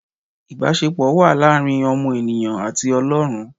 Ìbásepọ̀ wà láàrin ọmọ ènìyàn àti Ọlọ́run